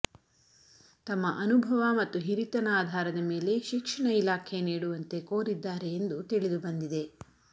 ತಮ್ಮ ಅನುಭವ ಮತ್ತು ಹಿರಿತನ ಆಧಾರದ ಮೇಲೆ ಶಿಕ್ಷಣ ಇಲಾಖೆ ನೀಡುವಂತೆ ಕೋರಿದ್ದಾರೆ ಎಂದು ತಿಳಿದುಬಂದಿದೆ